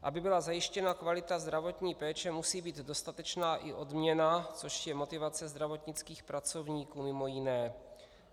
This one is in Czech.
Aby byla zajištěna kvalita zdravotní péče, musí být dostatečná i odměna, což je motivace zdravotnických pracovníků mimo jiné.